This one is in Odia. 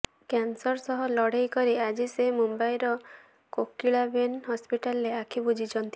କ୍ୟାନସର ସହ ଲଢ଼େଇ କରି ଆଜି ସେ ମୁମ୍ବାଇର କୋକିଳାବେନ ହସ୍ପିଟାଲରେ ଆଖି ବୁଜିଛନ୍ତି